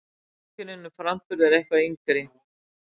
Notkunin um framburð er eitthvað yngri.